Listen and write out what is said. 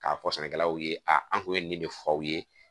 K'a fɔ sɛnɛkɛlaw ye a an kun ye nin de fɔ aw ye